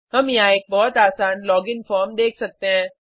हम यहाँ एक बहुत आसान लोगिन फॉर्म देख सकते हैं